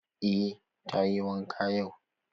Eh charity tayi wanka yau.